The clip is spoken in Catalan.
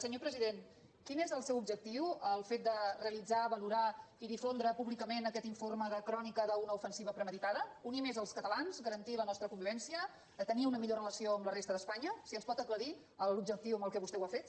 senyor president quin és el seu objectiu amb el fet de realitzar valorar i difondre públicament aquest informe de crònica d’una ofensiva premeditada unir més els catalans garantir la nostra convivència tenir una millor relació amb la resta d’espanya si ens pot aclarir l’objectiu amb què vostè ho ha fet